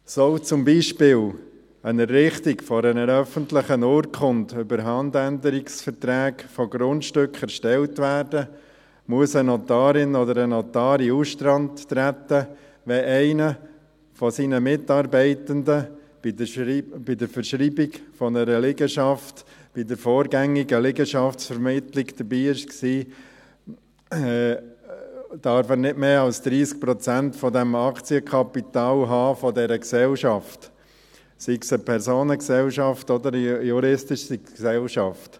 Soll zum Beispiel eine Errichtung einer öffentlichen Urkunde über Handänderungsverträge von Grundstücken erstellt werden, muss eine Notarin oder ein Notar in den Ausstand treten, wenn einer seiner Mitarbeitenden bei der Verschreibung einer Liegenschaft bei der vorgängigen Liegenschaftsvermittlung dabei war, und dieser darf nicht mehr als 30 Prozent des Aktienkapitals dieser Gesellschaft haben, sei es eine Personengesellschaft oder eine juristische Gesellschaft.